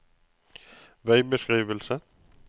veibeskrivelse